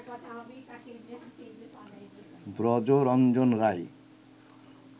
Brajaranjan Roy